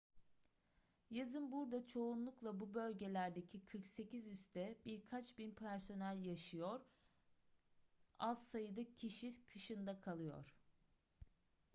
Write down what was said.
yazın burada çoğunlukla bu bölgelerdeki 48 üste birkaç bin personel yaşıyor az sayıda kişi kışın da kalıyor